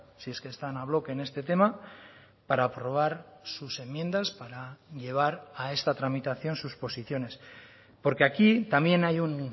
si es que están a bloque en este tema para aprobar sus enmiendas para llevar a esta tramitación sus posiciones porque aquí también hay un